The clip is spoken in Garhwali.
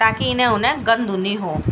ताकि इने-उने गंदू नी हो।